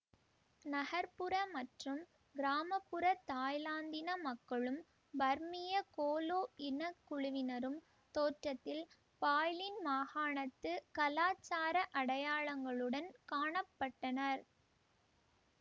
நகர்புற மற்றும் கிராம புற தாய்லாந்தின மக்களும் பர்மிய கோலா இன குழுவினரும் தோற்றத்தில் பாய்லின் மாகாணத்து கலாச்சார அடையாளங்களுடன் காண பட்டனர்